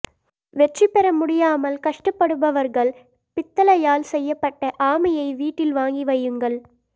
வெற்றி பெற முடியாமல் கஷ்டப்படுபவர்கள் பித்தளையால் செய்யப்பட்ட ஆமையை வீட்டில் வாங்கி வையுங்கள்